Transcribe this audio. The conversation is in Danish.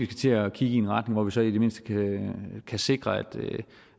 til at kigge i en retning hvor vi så i det mindste kan sikre